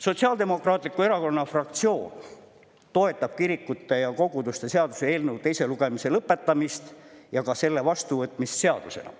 Sotsiaaldemokraatliku Erakonna fraktsioon toetab kirikute ja koguduste seaduse eelnõu teise lugemise lõpetamist ja ka selle eelnõu vastuvõtmist seadusena.